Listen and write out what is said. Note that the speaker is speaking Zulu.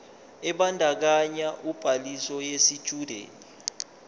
ebandakanya ubhaliso yesitshudeni